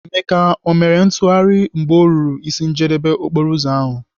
Emeka, o mere ntụgharị mgbe ọ ruru ịsị njedebe okporoụzọ ahụ?